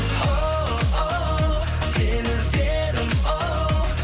оу сені іздедім оу